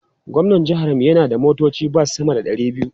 Gwamnan jihar mu yana da motocin bas sama da ɗari biyu.